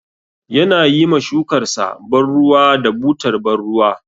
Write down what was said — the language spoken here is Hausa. Yana yi ma shukarsa ban ruwa da butar ban ruwa.